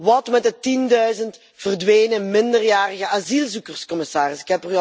Wat met de tienduizend verdwenen minderjarige asielzoekers, commissaris?